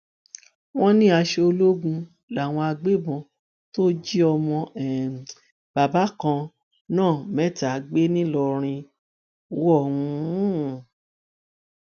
wọn ní aṣọ ológun làwọn agbébọn tó jí ọmọ um bàbá kan náà mẹta gbé ńlọrọrìn wọ um